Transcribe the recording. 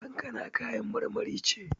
Kankana kayan marmari ce.